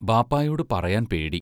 ബാപ്പായോടു പറയാൻ പേടി.